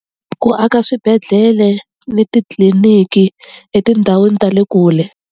Ku aka swibedhlele ni titliliniki etindhawini ta le kule.